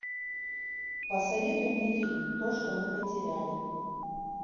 посоветуй мне фильм то что мы потеряли